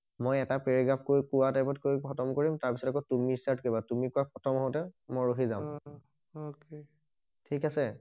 মই এটা পেৰেগ্ৰাফকৈ কোৱা টাইমকৈ খটম কৰিম তাৰ পিছত আকৌ তুমি ষ্টাৰ্ট কৰিবা তুমি কোৱা খটম হওঁতে মই অ ৰখি যাম অকে ঠিক আছে?